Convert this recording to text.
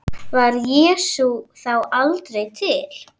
Var Jesús þá aldrei til?